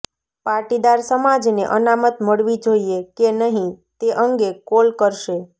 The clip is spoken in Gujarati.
પાટીદાર સમાજને અનામત મળવી જોઈએ કે નહીં તે અંગે કોલ કરશે